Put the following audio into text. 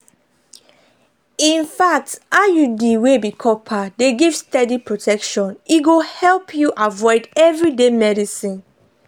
infact iud wey be copper dey give steady protection e go help you avoid everyday medicines.